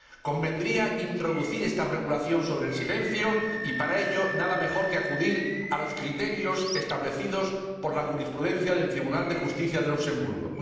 Convendría introducir esta regulación sobre el silencio y, para ello, nada mejor que acudir a los criterios establecidos por la jurisprudencia del Tribunal de Justicia de Luxemburgo.